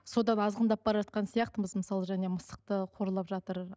содан азғындап бара жатқан сияқтымыз мысалы және мысықты қорлап жатыр